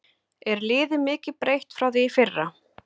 Er liðið mikið breytt frá því í fyrra?